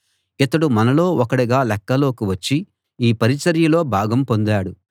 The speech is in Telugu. ఇతడు మనలో ఒకడుగా లెక్కలోకి వచ్చి ఈ పరిచర్యలో భాగం పొందాడు